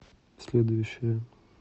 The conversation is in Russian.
следующая